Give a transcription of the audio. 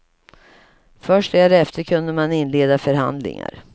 Först därefter kunde man inleda förhandlingar.